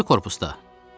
O biri korpusda.